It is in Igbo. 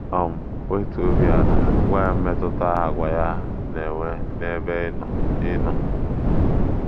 um Wetuo obi ala gwa ya mmetụta àgwà ya na - enwe n’ebe ị nọ ị nọ.